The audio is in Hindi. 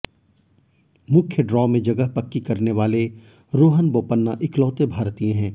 मुख्य ड्रॉ में जगह पक्की करने वाले रोहन बोपन्ना इकलौते भारतीय हैं